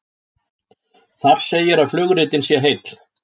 Þar segir að flugritinn sé heill